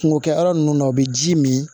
Kungo kɛ yɔrɔ ninnu na u bɛ ji min